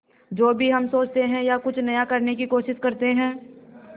जो भी हम सोचते हैं या कुछ नया करने की कोशिश करते हैं